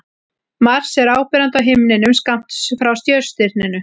Mars er áberandi á himninum skammt frá Sjöstirninu.